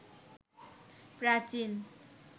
প্রাচীন